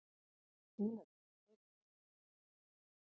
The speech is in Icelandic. Bílarnir eru ónýtir.